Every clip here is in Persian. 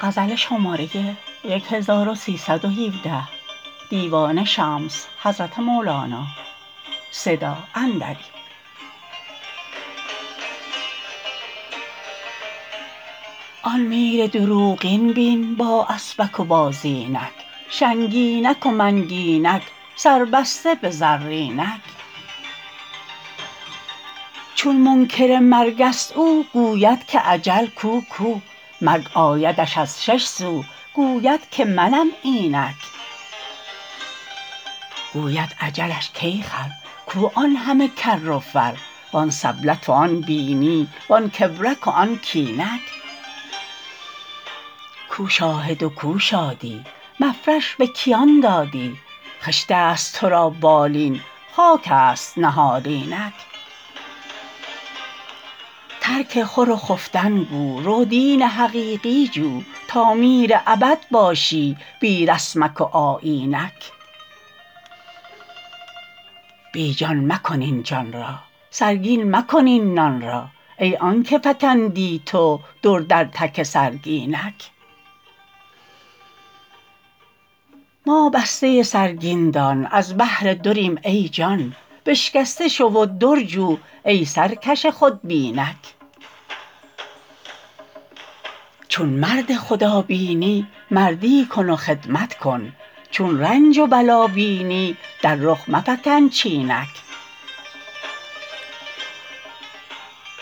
آن میر دروغین بین با اسپک و با زینک شنگینک و منگینک سربسته به زرینک چون منکر مرگست او گوید که اجل کو کو مرگ آیدش از شش سو گوید که منم اینک گوید اجلش کای خر کو آن همه کر و فر وان سبلت و آن بینی وان کبرک و آن کینک کو شاهد و کو شادی مفرش به کیان دادی خشتست تو را بالین خاکست نهالینک ترک خور و خفتن گو رو دین حقیقی جو تا میر ابد باشی بی رسمک و آیینک بی جان مکن این جان را سرگین مکن این نان را ای آنک فکندی تو در در تک سرگینک ما بسته سرگین دان از بهر دریم ای جان بشکسته شو و در جو ای سرکش خودبینک چون مرد خدابینی مردی کن و خدمت کن چون رنج و بلا بینی در رخ مفکن چینک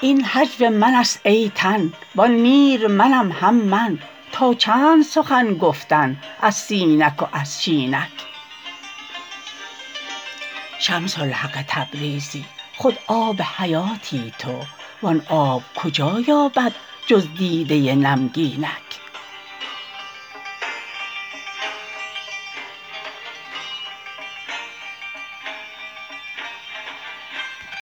این هجو منست ای تن وان میر منم هم من تا چند سخن گفتن از سینک و از شینک شمس الحق تبریزی خود آب حیاتی تو وان آب کجا یابد جز دیده نمگینک